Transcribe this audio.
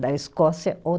Da Escócia ou